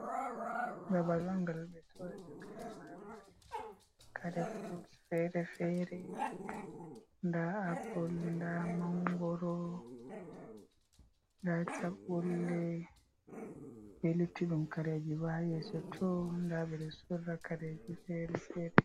Babal on ngal ɓe soorata kare marmari. Kare furut feere-feere, nda apul, nda mangoro, nda chaɓɓulle be luttuɗum kareji bo haa yeeso to. Nda ɓe ɗo sorra kareji feere-feere.